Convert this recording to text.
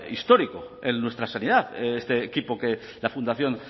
histórico en nuestra sanidad este equipo que la fundación